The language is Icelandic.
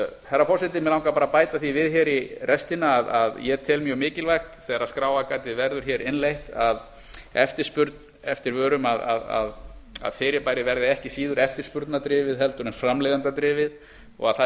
herra forseti mig langar bara að bæta því við hér í restina að ég tel mjög mikilvægt þegar skráargatið verður hér innleitt að eftirspurn eftir vörum að fyrirbærið verði ekki síður eftirspurnardrifið eða framleiðendadrifið og að það